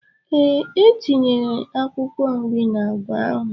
Ee, etinyere akwụkwọ nri n'agwa ahụ.